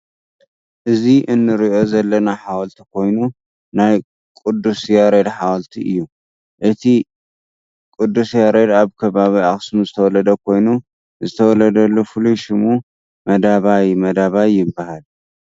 እዚ እንሪኦ ዘለና ሓወልቲ ኮይኑ ናይ ቁዱ ያሬድ ሓወልቲ እቲ። ቁዱስ ያሬድ ኣብ ከባቢ ኣክሱም ዝተወለደ ኮይኑ ዝተወለደሉ ፍሉት ሽሙ መደባይ መደባይ ይባሃል።